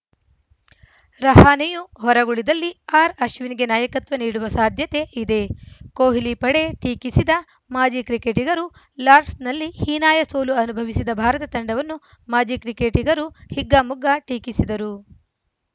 ರಹಾನೆಯೂ ಹೊರಗುಳಿದಲ್ಲಿ ಆರ್‌ಅಶ್ವಿನ್‌ಗೆ ನಾಯಕತ್ವ ನೀಡುವ ಸಾಧ್ಯತೆ ಇದೆ ಕೊಹ್ಲಿ ಪಡೆ ಟೀಕಿಸಿದ ಮಾಜಿ ಕ್ರಿಕೆಟಿಗರು ಲಾರ್ಡ್ಸ್ನಲ್ಲಿ ಹೀನಾಯ ಸೋಲು ಅನುಭವಿಸಿದ ಭಾರತ ತಂಡವನ್ನು ಮಾಜಿ ಕ್ರಿಕೆಟಿಗರು ಹಿಗ್ಗಾಮುಗ್ಗಾ ಟೀಕಿಸಿದರು